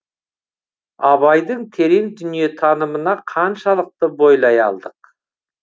абайдың терең дүниетанымына қаншалықты бойлай алдық